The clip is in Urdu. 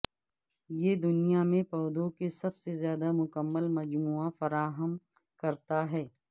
یہ دنیا میں پودوں کے سب سے زیادہ مکمل مجموعہ فراہم کرتا ہے